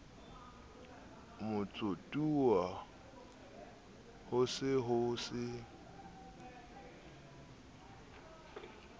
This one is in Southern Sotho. motsotuwa ho se ho se